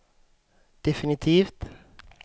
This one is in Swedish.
definitivt